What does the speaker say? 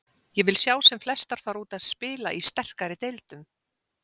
Ég vil sjá sem flestar fara út og spila í sterkari deildum.